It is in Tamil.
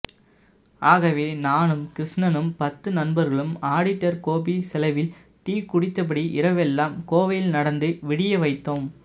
ஆகவே நானும் கிருஷ்ணனும் பத்து நண்பர்களும் ஆடிட்டர் கோபி செலவில் டீ குடித்தபடி இரவெல்லாம் கோவையில் நடந்து விடியவைத்தோம்